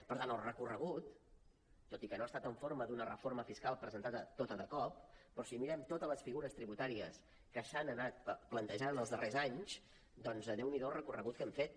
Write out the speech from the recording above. per tant el recorregut tot i que no ha estat en forma d’una reforma fiscal presentada tota de cop però si mirem totes les figures tributàries que s’han anat plantejant en els darrers anys doncs déu n’hi do el recorregut que hem fet